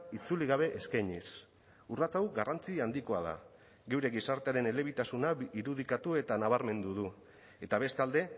itzuli gabe eskainiz urrats hau garrantzi handikoa da geure gizartearen elebitasuna irudikatu eta nabarmendu du eta bestalde